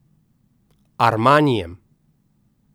Armanijem.